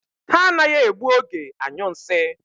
Ha anaghị egbu oge anyụ nsị.